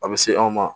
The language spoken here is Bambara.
A bɛ se anw ma